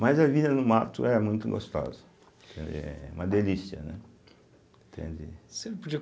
Mas a vida no mato é muito gostosa, entende, é uma delícia, né, entende. Você não podia